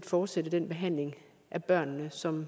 fortsætte den behandling af børnene som